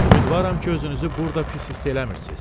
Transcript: Ümidvaram ki, özünüzü burada pis hiss eləmirsiz.